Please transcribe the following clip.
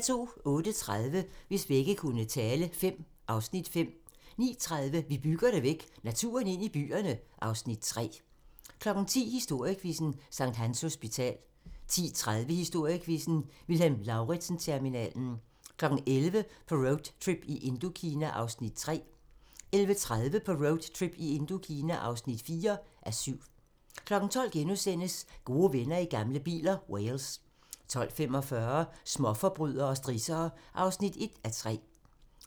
08:30: Hvis vægge kunne tale V (Afs. 5) 09:30: Vi bygger det væk - naturen ind i byerne (Afs. 3) 10:00: Historiequizzen: Sct. Hans Hospital 10:30: Historiequizzen: Vilhelm Lauritzen-terminalen 11:00: På roadtrip i Indokina (3:7) 11:30: På roadtrip i Indokina (4:7) 12:00: Gode venner i gamle biler - Wales * 12:45: Småforbrydere og strissere (1:3)